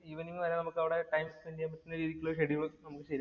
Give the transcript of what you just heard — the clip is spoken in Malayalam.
നമുക്ക് ഈവനിംഗ് വരെ അവിടെ ടൈം സ്പെന്‍ഡ് ചെയ്യാന്‍ പറ്റുന്ന രീതിക്കുള്ള ഒരു ഷെഡ്യൂള്‍